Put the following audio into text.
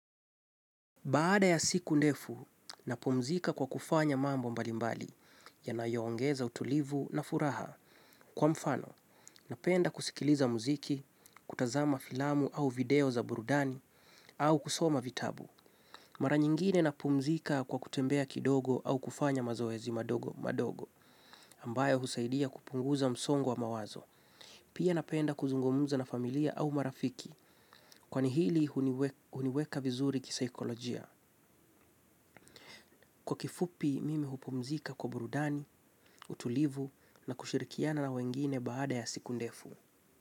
Baada ya siku ndefu, napumzika kwa kufanya mambo mbalimbali yanayoongeza utulivu na furaha kwa mfano, napenda kusikiliza muziki, kutazama filamu au video za burudani au kusoma vitabu. Mara nyingine napumzika kwa kutembea kidogo au kufanya mazoezi madogo madogo ambayo husaidia kupunguza msongo wa mawazo. Pia napenda kuzungumuza na familia au marafiki kwani hili huniweka vizuri kisaikolojia. Kwa kifupi mimi hupumzika kwa burudani, utulivu na kushirikiana na wengine baada ya siku ndefu.